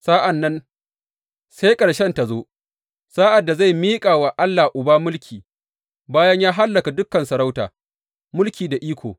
Sa’an nan sai ƙarshen ta zo, sa’ad da zai miƙa wa Allah Uba mulki, bayan ya hallaka dukan sarauta, mulki da iko.